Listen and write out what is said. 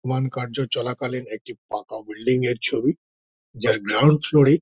one কার্য চলাকালীন একটি ফাঁকা বিল্ডিং -এর ছবি যার গ্রাউন্ড ফ্লোর -এ--